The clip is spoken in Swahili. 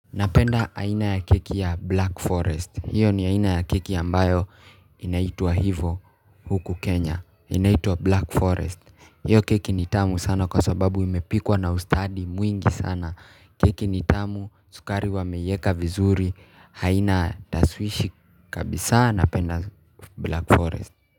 Napenda aina ya keki ya Black Forest. Hiyo ni aina ya keki ambayo inaitwa hivo huku Kenya. Inaitwa Black Forest. Hiyo keki ni tamu sana kwa sababu imepikwa na ustadi mwingi sana. Keki ni tamu, sukari wameieka vizuri. Haina tashwishi kabisa napenda Black Forest.